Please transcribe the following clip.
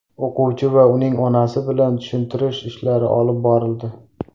O‘quvchi va uning onasi bilan tushuntirish ishlari olib borildi.